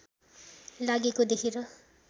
लागेको देखेर